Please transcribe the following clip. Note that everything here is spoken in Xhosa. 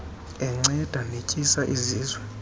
enceda netyisa izizwe